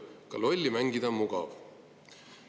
Ka lolli mängida on mugav.